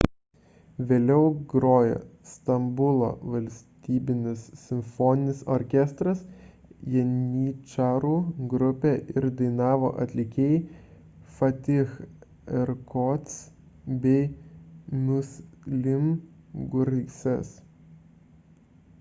vėliau grojo stambulo valstybinis simfoninis orkestras janyčarų grupė ir dainavo atlikėjai fatih erkoç bei müslüm gürses